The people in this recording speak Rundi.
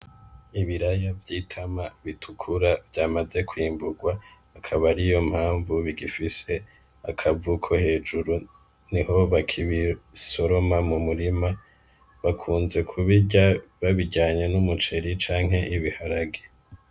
Ibiraya vy'itama bitukura vyamaze kwimburwa akaba ariyo mpanvu bifise akavu ko hejuru niho bakibisoroma mu murima bakunze kubirya babiryanye n'umuceri canke ibiharage.